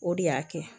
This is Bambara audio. O de y'a kɛ